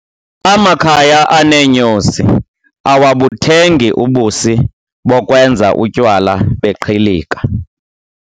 Amakhaya aneenyosi awabuthengi ubusi bokwenza utywala beqhilika.